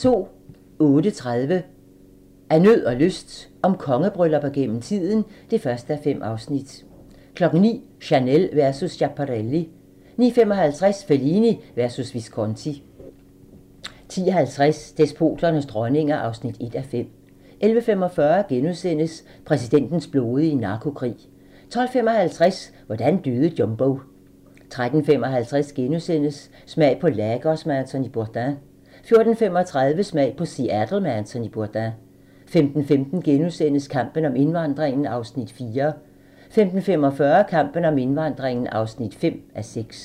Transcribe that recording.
08:30: Af nød og lyst - om kongebryllupper gennem tiden (1:5) 09:00: Chanel versus Schiaparelli 09:55: Fellini versus Visconti 10:50: Despoternes dronninger (1:5) 11:45: Præsidentens blodige narkokrig * 12:55: Hvordan døde Jumbo? 13:55: Smag på Lagos med Anthony Bourdain * 14:35: Smag på Seattle med Anthony Bourdain 15:15: Kampen om indvandringen (4:6)* 15:45: Kampen om indvandringen (5:6)